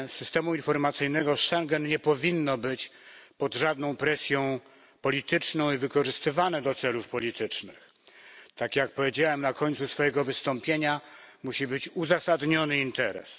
Systemu informacyjnego Schengen nie powinno używać się pod żadną presją polityczną ani wykorzystywać do celów politycznych. Tak jak powiedziałem na końcu swojego wystąpienia, musi być uzasadniony interes.